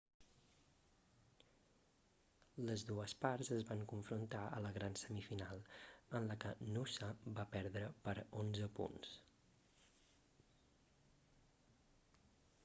les dues parts es van confrontar a la gran semifinal en la que noosa va perdre per 11 punts